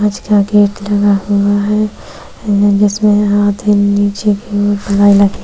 gate लगा हुवा है जिसमें आधे नीचे की और --